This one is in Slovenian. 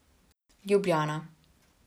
Ljubljana.